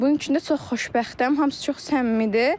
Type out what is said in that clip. Bunun üçün də çox xoşbəxtəm, hamısı çox səmimidir.